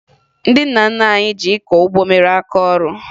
Ndị nna nna anyị ji ịkọ ụgbọ mere aka ọrụ